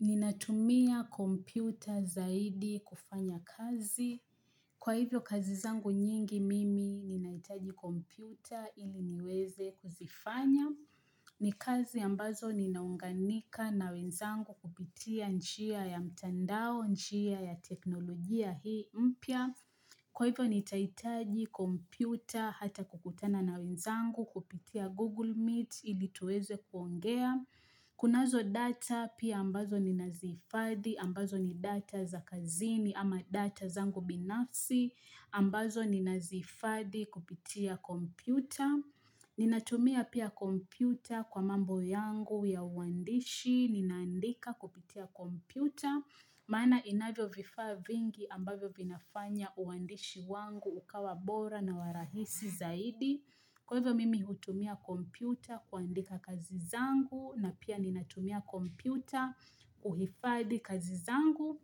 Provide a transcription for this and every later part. Ninatumia kompyuta zaidi kufanya kazi. Kwa hivyo kazi zangu nyingi mimi ninahitaji kompyuta ili niweze kuzifanya. Ni kazi ambazo ninaunganika na wenzangu kupitia njia ya mtandao, njia ya teknolojia hii mpya. Kwa hivyo nitahitaji kompyuta hata kukutana na wenzangu kupitia Google Meet ili tuweze kuongea. Kunazo data pia ambazo ninazihifadhi ambazo ni data za kazini ama data zangu binafsi, ambazo ninazihifadhi kupitia kompyuta. Ninatumia pia kompyuta kwa mambo yangu ya uandishi, ninaandika kupitia kompyuta, maana inavyo vifaa vingi ambavyo vinafanya uandishi wangu ukawa bora na wa rahisi zaidi. Kwa hivyo mimi hutumia kompyuta kuandika kazi zangu na pia ninatumia kompyuta kuhifadhi kazi zangu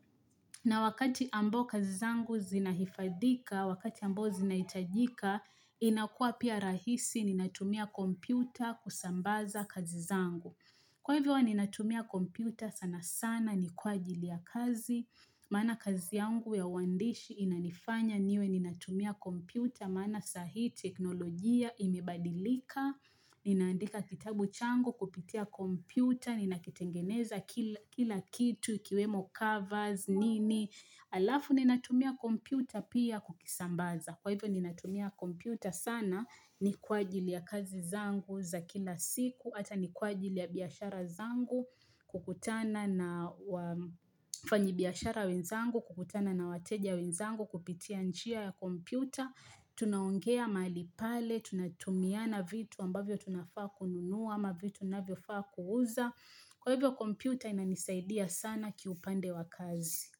na wakati ambao kazi zangu zinahifadhika, wakati ambao zinahitajika, inakuwa pia rahisi ninatumia kompyuta kusambaza kazi zangu. Kwa hivyo huwa ninatumia kompyuta sana sana ni kwa ajili ya kazi, maana kazi yangu ya uandishi inanifanya niwe ninatumia kompyuta, maana sai teknolojia imebadilika, ninaandika kitabu changu kupitia kompyuta, ninakitengeneza kila kitu, kiwemo covers, nini alafu ninatumia kompyuta pia kukisambaza. Kwa hivyo ninatumia kompyuta sana ni kwa ajili ya kazi zangu za kila siku, hata ni kwa ajili ya biashara zangu, kukutana na wafanyi biashara wenzangu, kukutana na wateja wenzangu, kupitia njia ya kompyuta, tunaongea mahali pale, tunatumiana vitu ambavyo tunafaa kununuwa ama vitu ninavyofaa kuuza. Kwa hivyo kompyuta inanisaidia sana kiupande wa kazi.